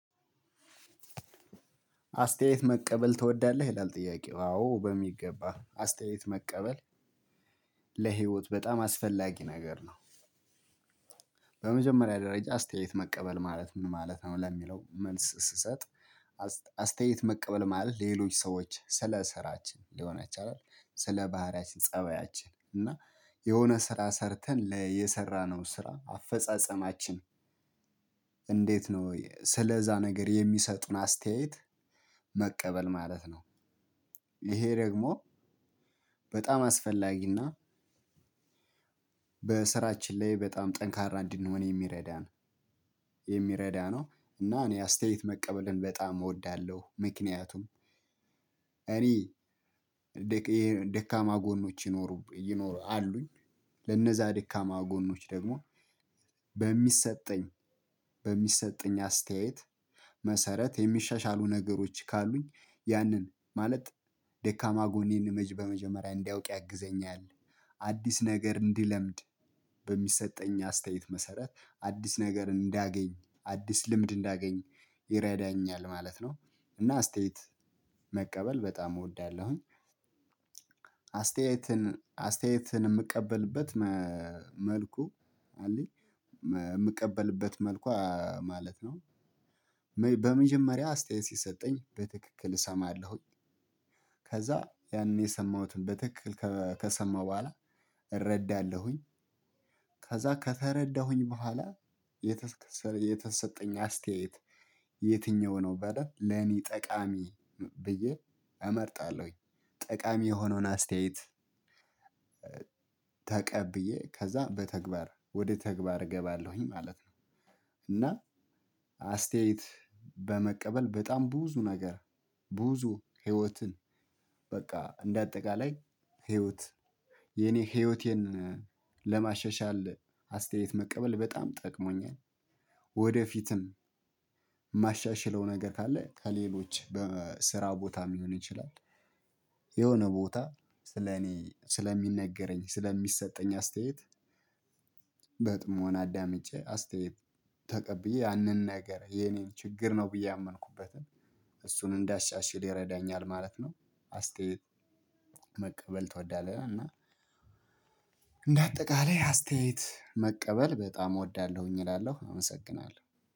አስተያየት መቀበል ትወዳለህ ይላል ጥያቄው አዎ በሚገባ አስተያየት መቀበል ለህይወት በጣም አስፈላጊ ነገር ነው። በመጀመሪያ ደረጃ አስተያየት መቀበል ማለት ምን ማለት ነው ለሚለው መልስ ስሰጥ። አስ አስተያየት መቀበል ማለት ሌሎች ሰዎች ስለ ስራችን ሊሆን ይችላል ስለ ባህሪያችን ፀባያችን እና የሆነ ስራ ሰርተን ለየሰራነው ስራ አፈጻጸማችን። እንዴት ነው ስለዛ ነገር የሚሰጡን አስተያየት መቀበል ማለት ነው። ይሄ ደግሞ በጣም አስፈላጊ እና በስራችን ላይ በጣም ጠንካራ እንድንሆን የሚረዳ ነው። የሚረዳ ነው እና እኔ አስተያየት መቀበልን በጣም እወዳለሁ። ምክንያቱም እኔ ይሄ ደካማ ጎኖች ይኖሩብኛል ይኖሩ አሉኝ። ለነዛ ደካማ ጎኖች ደግሞ በሚሰጠኝ በሚሰጠኝ አስተያየት መሰረት የሚሻሻሉ ነገሮች ካሉኝ ያንን ማለት ደካማ ጎኔን መጅ በመጀመሪያ እንድአውቅ ያግዘኛል። አዲስ ነገር እንድለምድ በሚሰጠኝ አስተያየት መሰረት አዲስ ነገር እንዳገኝ አዲስ ልምድ እንዳገኝ ይረዳኛል ማለት ነው። እና አስተያየት መቀበል በጣም እወዳለሁኝ። አስተያየትን አስተያየትን የምቀበልበት መልኩ አለኝ የምቀበልበት መልኩ ማለት ነው። በመጀመሪያ አስተያየት ሲሰጠኝ በትክክል እሰማለሁኝ ከዛ ያኔ የሰማሁትን በትክክል ከሰማሁ በኋላ እረዳለሁኝ። ከዛ ከተረዳሁኝ በኋላ የተ የተሰጠኝ አስተያየት የትኛው ነው በደንብ ለኔ ጠቃሚ ብዬ እመርጣለሁኝ ጠቃሚ የሆነውን አስተያየት። ተቀብዬ ከዛ በተግባር ወደ ተግባር እገባለሁኝ ማለት ነው። እና አስተያየት በመቀበል በጣም ብዙ ነገር ብዙ ህይወትን በቃ እንደ አጠቃላይ ህይወት የኔ ህይወቴን ለማሸሻል አስተያየት መቀበል በጣም ጠቅሞኛል። ወደፊትም የማሻሽለው ነገር ካለ ከሌሎች በስራ ቦታ ሊሆን ይችላል። የሆነ ቦታ ስለኔ ስለሚነገረኝ ስለሚሰጠኝ አስተያየት። በጥሞና አዳምጬ አስተያየት ተቀብዬ ያንን ነገር የኔን ችግር ነው ብዬ ያመንኩበትን እሱን እንዳሻሽል ይረዳኛል ማለት ነው። አስተያየት መቀበል ትወዳለህ? እና እንደ አጠቃላይ አስተያየት መቀበል በጣም እወዳለሁኝ እላለሁ አመሰግናለሁ